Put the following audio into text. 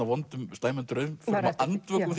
slæmum draumförum og andvöku